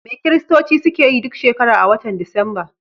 Me Kiristoci suke yi duk shekara a wata disamba?